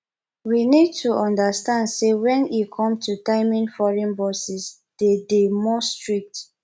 we need to understand sey when e come to timing foreign bosses de dey more strict